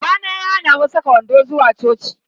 Babana ya hana mu saka wando zuwa coci.